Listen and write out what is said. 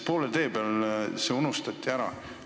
Poole tee peal unustati see ära.